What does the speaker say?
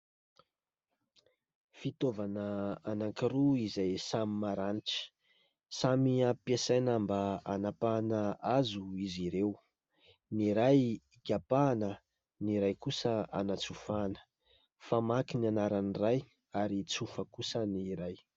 Fitaovana anankiroa izay samy maranitra, samy ampiasaina mba hanapahana hazo izy ireo. Ny iray ikapana, ny iray kosa anatsofana, famaky ny anaran'ny iray ary tsofa kosa ny iray.